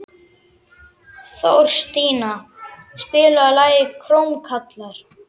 Þorstína, spilaðu lagið „Krómkallar“.